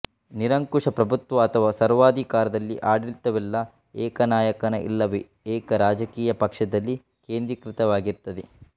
ನಿರಂಕುಶ ಪ್ರಭುತ್ವ ಅಥವಾ ಸರ್ವಾಧಿಕಾರದಲ್ಲಿ ಆಡಳಿತವೆಲ್ಲ ಏಕನಾಯಕನ ಇಲ್ಲವೇ ಏಕ ರಾಜಕೀಯ ಪಕ್ಷದಲ್ಲಿ ಕೇಂದ್ರೀಕೃತವಾಗಿರುತ್ತದೆ